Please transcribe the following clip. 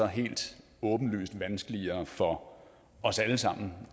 helt åbenlyst vanskeligere for os alle sammen